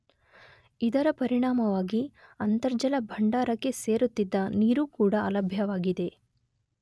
ಇದರ ಪರಿಣಾಮವಾಗಿ ಅಂತರ್ಜಲ ಭಂಡಾರಕ್ಕೆ ಸೇರುತ್ತಿದ್ದ ನೀರೂ ಕೂಡ ಅಲಭ್ಯವಾಗಿದೆ.